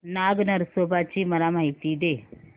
नाग नरसोबा ची मला माहिती दे